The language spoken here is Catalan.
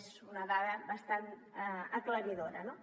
és una dada bastant aclaridora no